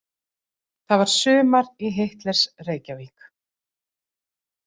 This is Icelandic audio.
Það var sumar í Hitlers- Reykjavík.